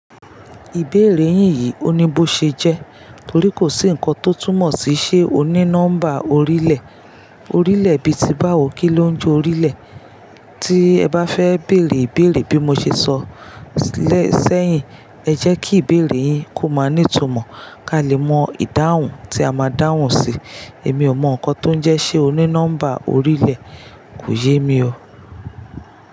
Ìbéèrè yín yìí oní bo ṣe jẹ́ torí kò sí ǹkan tó túmọ̀ sí ṣe o ní nọ́mbà orílẹ̀. Orílẹ̀ bíi ti báwo kí ló ń je orílẹ̀. Tí ẹ bá fẹ́ bèèrè ìbéèrè bí mo ṣe sọ lẹ́ sẹ́yìn, ẹ jẹ́ kí ìbéèrè yín kó máa nìtumọ̀ ká lè mọ ìdáhùn tí a máa dáhùn sí. Èmi ò mọ ǹkan tó ń jẹ́ ṣe o ní nọ́mbà orílẹ̀, kò yé mi o.